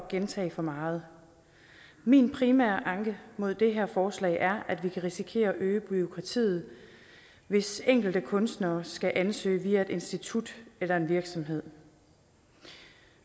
gentage for meget min primære anke mod det her forslag er at vi kan risikere at øge bureaukratiet hvis enkelte kunstnere skal ansøge via et institut eller en virksomhed